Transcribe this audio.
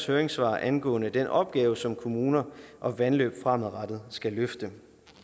høringssvar angående den opgave som kommuner og vandløb fremadrettet skal løfte